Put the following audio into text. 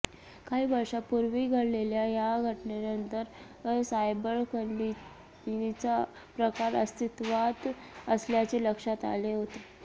काही वर्षापूर्वी घडलेल्या या घटनेनंतर सायबर खंडणीचा प्रकार अस्तित्वात असल्याचे लक्षात आले होते